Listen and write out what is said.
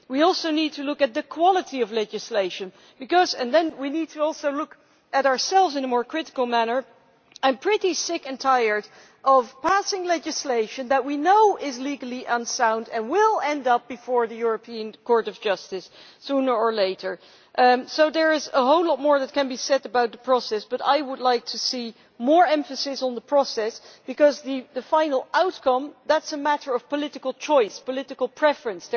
We also need to look at the quality of legislation and look at ourselves in a more critical manner, because I am sick and tired of passing legislation that we know is legally unsound and will end up before the European Court of Justice sooner or later. There is a whole lot more that can be said about the process, but I would like to see more emphasis on the process, because the final outcome is a matter of political choice, political preference.